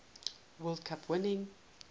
world cup winning